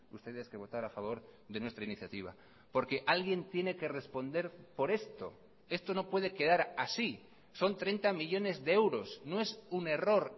ustedes que votar a favor de nuestra iniciativa porque alguien tiene que responder por esto esto no puede quedar así son treinta millónes de euros no es un error